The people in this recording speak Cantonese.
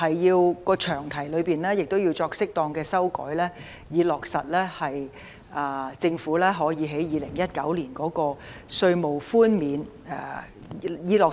此外，詳題亦要作適當修訂，以落實政府2019年的稅務寬免。